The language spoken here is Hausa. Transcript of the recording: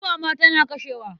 Guba ma tana kashewa.